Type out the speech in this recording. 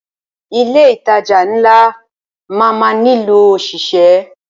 Ilé ìtajà ńlá máa má nílò ọ̀ṣìṣẹ́.